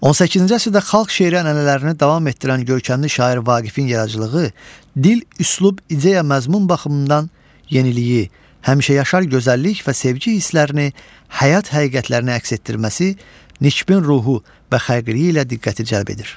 18-ci əsrdə xalq şeiri ənənələrini davam etdirən görkəmli şair Vaqifin yaradıcılığı dil, üslub, ideya, məzmun baxımından yeniliyi, həmişəyaşar gözəllik və sevgi hisslərini, həyat həqiqətlərini əks etdirməsi, nikbin ruhu və xəlqiliyi ilə diqqəti cəlb edir.